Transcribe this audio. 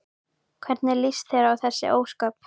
Hvernig líst þér á þessi ósköp?